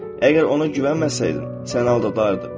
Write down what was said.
Əgər ona güvənməsəydin, səni aldadardı.